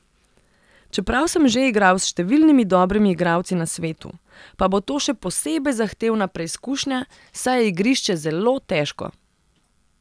Čeprav sem že igral s številnimi dobrimi igralci na svetu, pa bo to še posebej zahtevna preizkušnja, saj je igrišče zelo težko.